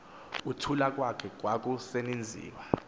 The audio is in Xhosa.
kuthula kwakhe kwakusenziwa